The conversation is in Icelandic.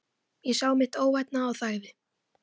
Ég sá mitt óvænna og þagði.